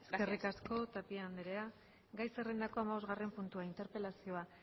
eskerrik asko eskerrik asko tapia anderea gai zerrendako hamabosgarren puntua interpelazioa